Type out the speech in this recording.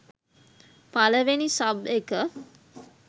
පළවෙනි සබ් එක